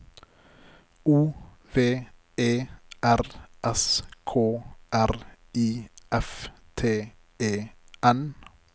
O V E R S K R I F T E N